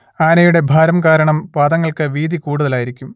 ആനയുടെ ഭാരം കാരണം പാദങ്ങൾക്ക് വീതി കൂടുതലായിരിക്കും